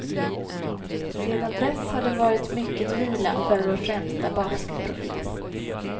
Sedan dess har det varit mycket vila för vår främsta basketprofil.